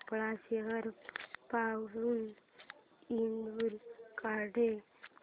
भोपाळ शहर पासून इंदूर कडे